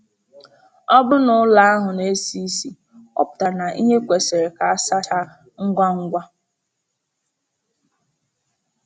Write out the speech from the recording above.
Ọ bụrụ na ụlọ ahụ na-esi isi, ọ pụtara na ihe kwesịrị ka a sachaa ngwa ngwa.